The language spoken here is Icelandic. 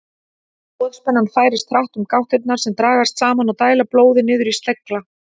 Boðspennan færist hratt um gáttirnar sem dragast saman og dæla blóði niður í slegla.